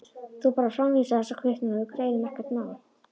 Þú bara framvísar þessari kvittun og við greiðum, ekkert mál.